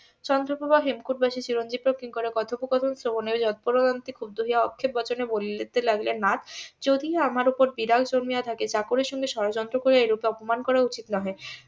চন্দ্রপ্রভা হেমকুট বাসী চিরঞ্জিব ও কিঙ্করের কথোপকথন যৎপরোনাস্তি ক্ষুব্ধ হইয়া আক্ষেপ বচনে বলিতে লাগিলেন . যদি আমার উপর বিরাগ জন্মিয়া থাকে চাকরের সাথে ষড়যন্ত্র করিয়া এই রূপ অপমান করা উচিত নহে